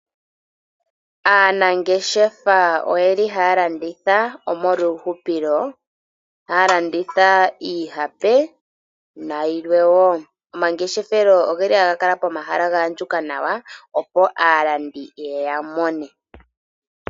Aanangeshefa oyeli haya landitha omolwa uuhupilo, haya landitha iihape na yilwe wo. Omangeshefelo ogeli haga kala pomahala ga andjuka nawa, opo alandi yega mone.